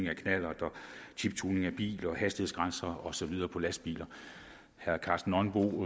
chiptuning af biler hastighedsgrænser og så videre på lastbiler herre karsten nonbo